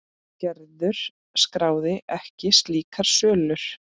Gerður skráði ekki slíkar sölur.